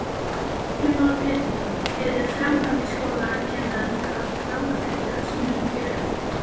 Heimir Már Pétursson: Eru framhaldsskólakennarar orðnir langþreyttir á sínum kjörum?